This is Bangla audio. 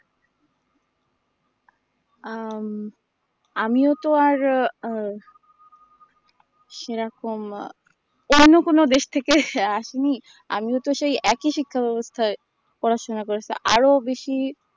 আম আমিও তো আর ও আ সেরকম আ অন্য কোনো দেশ থেকে আসিনি আমিও তো সেই একই শিক্ষা বাবস্থায় পড়াশোনা করেছি আরো বেশী